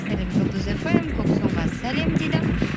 сәлем жұлдыз фм сәлем дейді